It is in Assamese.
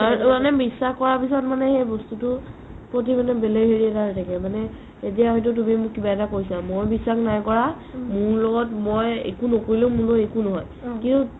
আৰু মানে বিশ্বাস কৰাৰ পিছত সেই বস্তুটো প্ৰতি বেলেগ হেৰি এটা হয় থাকে মানে এতিয়া হয়টো তুমি মোক কিবা এটা কৈছা মই বিশ্বাস নাই কৰা মোৰ লগত মই একো নকৰিলেও মোৰ একো নহয় অ